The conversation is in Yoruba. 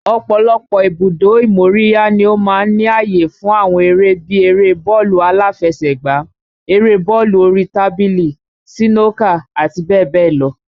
Ọ̀pọ̀lọpọ̀ ibùdó ìmóríyá ni ó máa ń ní àyè fún àwọn eré bí eré bọ́ọ̀lù aláfẹsẹ̀gbá, eré bọ́ọ̀lù orí tábìlì, sínókà, àti bẹ́ẹ̀ bẹ́ẹ̀ lọ.